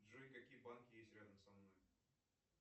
джой какие банки есть рядом со мной